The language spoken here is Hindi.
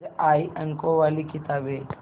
फिर आई अंकों वाली किताबें